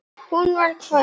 Hún hvæsir.